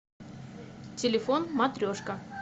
телефон матрешка